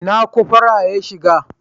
Ina cofora ya shiga?